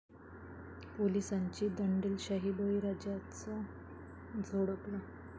पोलिसांची दंडेलशाही, बळीराजालाच झोडपलं